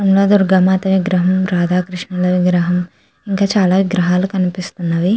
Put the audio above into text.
అమ్మా దుర్గమాత విగ్రహం రాధాకృషణుల విగ్రహం ఇంకా చాలా విగ్రహాలు కనిపిస్తునన్నాయి.